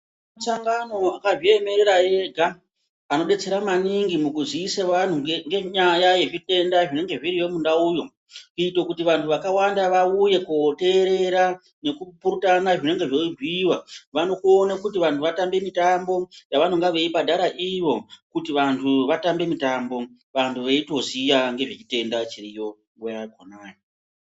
Shangano akazviemerera ega anodetsera maningi mukuziise anhu nge ngenyaya yezvitenda zvinenge zviriyo mundauyo kuite kuti vantu vakawanda vauye koterera nekupurutana zvinenge zveibhuiwa vanokone kuti vantu vatambe mitambo yavanenge vechibhadhara ivo kuti vantu vatambe mutambo vantu veitoziya ngezvechitenda chiriyo nguwa yakhonayo.